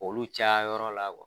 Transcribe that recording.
Olu caya yɔrɔ la